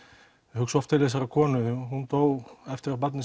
hugsa oft til þessarar konu því hún dó eftir að barnið